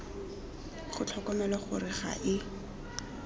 ga tlhokomelwa gore ga e